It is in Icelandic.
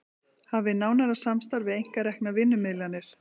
Hafi nánara samstarf við einkareknar vinnumiðlanir